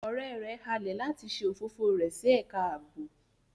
Ọrẹ rẹ halẹ lati ṣe ofofo rẹ si ẹka aabo